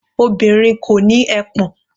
Obìnrin kò ní ẹpọ̀n.